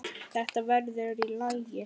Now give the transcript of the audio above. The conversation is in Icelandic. Þetta verður í lagi.